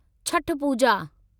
Chhath Puja